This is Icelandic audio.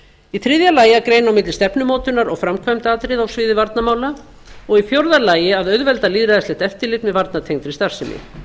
í þriðja lagi að greina á milli stefnumótunar og framkvæmdaatriða á sviði varnarmála og í fjórða lagi að auðvelda lýðræðislegt eftirlit með varnartengdri starfsemi